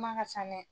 Kuma ka ca dɛ